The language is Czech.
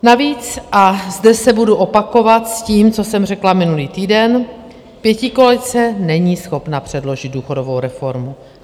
Navíc, a zde se budu opakovat s tím, co jsem řekla minulý týden, pětikoalice není schopna předložit důchodovou reformu.